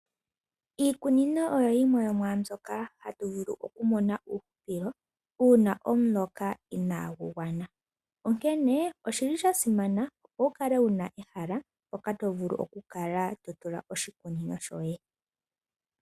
Iikunino oyo yimwe yomwaa mbyoka hatu vulu okumona uuhupilo uuna omuloka inaagu gwana, onkene oshi li sha simana, opo wu kale wu na ehala mpoka to vulu okutula oshikunino shoye.